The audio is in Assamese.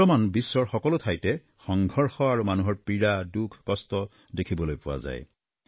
বৰ্তমান বিশ্বৰ সকলো ঠাইতে সংঘৰ্ষ আৰু মানুহৰ পীড়া দুখকষ্ট আদি দেখিবলৈ পোৱা যায়